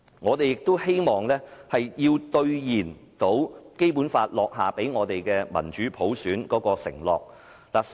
我們也希望兌現《基本法》所許下讓香港有民主普選的承諾。